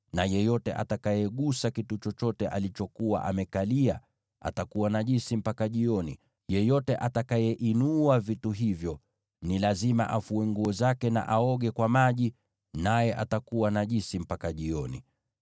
na yeyote atakayegusa kitu chochote alichokuwa amekalia atakuwa najisi mpaka jioni. Yeyote atakayeinua vitu hivyo ni lazima afue nguo zake na aoge kwa maji, naye atakuwa najisi mpaka jioni.